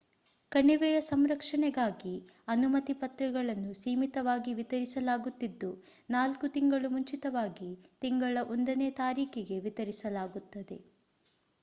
ಕಣಿವೆಯ ಸಂರಕ್ಷಣೆಗಾಗಿ ಅನುಮತಿ ಪತ್ರಗಳನ್ನು ಸೀಮಿತವಾಗಿ ವಿತರಿಸಲಾಗುತಿದ್ದು 4 ತಿಂಗಳು ಮುಂಚಿತವಾಗಿ ತಿಂಗಳ 1 ನೇ ತಾರೀಖಿಗೆ ವಿತರಿಸಲಾಗುತ್ತದೆ